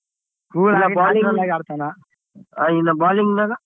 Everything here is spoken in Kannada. ಇನ್ನಾ bowling ನಾಗ?